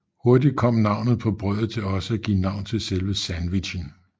Hurtigt kom navnet på brødet til også at give navn til selve sandwichen